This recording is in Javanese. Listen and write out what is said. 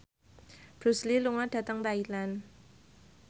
Bruce Lee lunga dhateng Thailand